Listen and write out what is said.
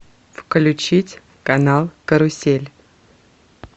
включить канал карусель